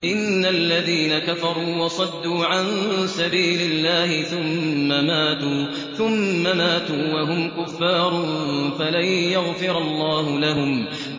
إِنَّ الَّذِينَ كَفَرُوا وَصَدُّوا عَن سَبِيلِ اللَّهِ ثُمَّ مَاتُوا وَهُمْ كُفَّارٌ فَلَن يَغْفِرَ اللَّهُ لَهُمْ